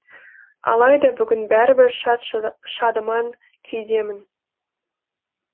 алайда бүгін бәрібір шат шадыман күйдемін